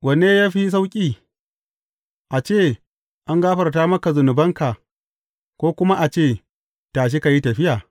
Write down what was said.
Wanne ya fi sauƙi, a ce, An gafarta maka zunubanka,’ ko kuma a ce, Tashi, ka yi tafiya’?